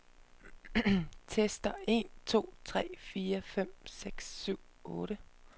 Tester en to tre fire fem seks syv otte.